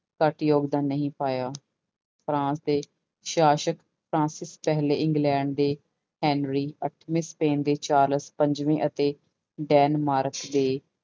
ਘੱਟ ਯੋਗਦਾਨ ਨਹੀਂ ਪਾਇਆ, ਫਰਾਂਸ ਦੇ ਸਾਸਕ ਫਰਾਂਸਿਸ ਪਹਿਲੇ ਇੰਗਲੈਂਡ ਦੇ ਹੈਨਰੀ, ਅੱਠਵੇਂ ਸਪੇਨ ਦੇ ਚਾਰਲਸ ਪੰਜਵੇਂ ਅਤੇ ਡੈਨਮਾਰਕ ਦੇ